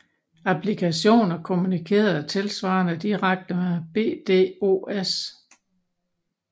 Applikationer kommunikerede tilsvarende direkte med BDOS